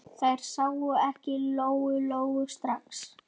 Þær sáu ekki Lóu-Lóu strax.